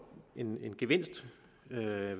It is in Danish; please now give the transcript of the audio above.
en en gevinst ved at